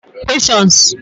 Questions